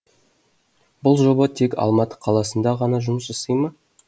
бұл жоба тек алматы қаласында ғана жұмыс жасай ма